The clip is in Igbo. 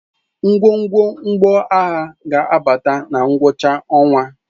Ngwongwo mgbọagha ga-abata na ngwụcha ọnwa.